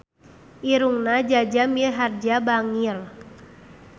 Irungna Jaja Mihardja bangir